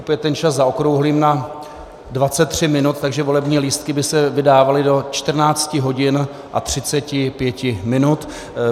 Opět ten čas zaokrouhlím na 23 minut, takže volební lístky by se vydávaly do 14 hodin a 35 minut.